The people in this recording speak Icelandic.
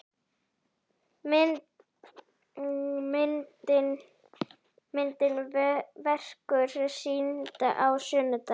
Myndin verður sýnd á sunnudaginn.